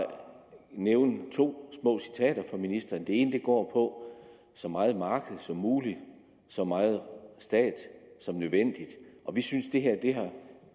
nævne to små citater for ministeren det ene går på så meget marked som muligt så meget stat som nødvendigt vi synes det her har